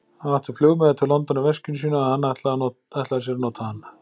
Hann átti flugmiða til London í veskinu sínu, og hann ætlaði sér að nota hann.